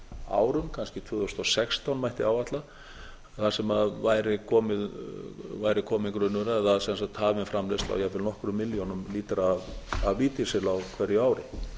árum kannski tvö þúsund og sextán mætti áætla þar sem væri kominn grunnur eða sem sagt hafin framleiðsla á jafnvel nokkrum milljónum lítra af lífdísil á hverju ári